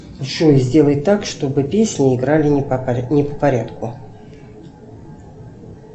джой сделай так чтобы песни играли не по порядку